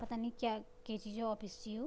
पतानी क्या कै चीजाे ऑफिस च यु।